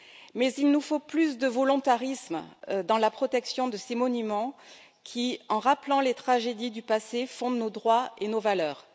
Mais il nous faut plus de volontarisme dans la protection de ces monuments qui, en rappelant les tragédies du passé, fondent nos droits et nos valeurs.